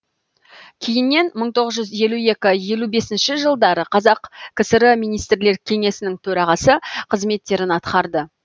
кейіннен мың тоғыз жүз елу екі мың тоғыз жүз елу бесінші жылдары қазақ кср министрлер кеңесінің төрағасы қызметтерін атқарды